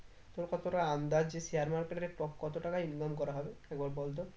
তোর কতটা আন্দাজ যে share market এ কত টাকা income করা হবে একবার বল তো